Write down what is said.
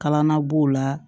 Kalan na b'o la